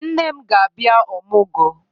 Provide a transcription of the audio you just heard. Nne m ga-abia Ọmụgọ